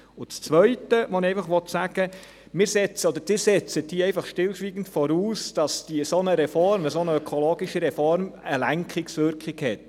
Das Zweite, was ich sagen will: Sie setzten hier einfach stillschweigend voraus, dass eine solche ökologische Reform eine Lenkungswirkung hat.